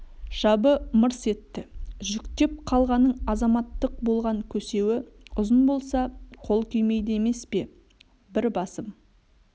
жабы мырс етті жүктеп қалғаның азаматтық болған көсеуі ұзын болса қол күймейді емес пе бір басым